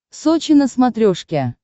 сочи на смотрешке